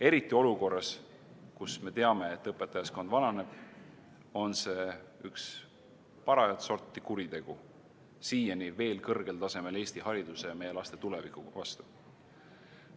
Eriti olukorras, kus me teame, et õpetajaskond vananeb, on see üks parajat sorti kuritegu siiani veel kõrgel tasemel Eesti hariduse ja meie laste tuleviku vastu.